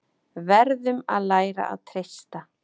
Verðum að læra að treysta